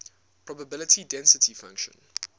probability density function